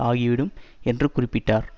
ஆகிவிடும் என்றும் குறிப்பிட்டார்